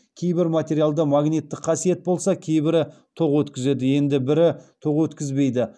кейбір материалда магниттік қасиет болса кейбірі тоқ өткізеді енді бірі тоқ өткізбейді